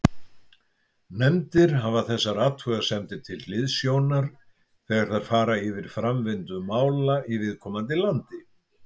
Nefndir hafa þessar athugasemdir til hliðsjónar þegar þær fara yfir framvindu mála í viðkomandi landi.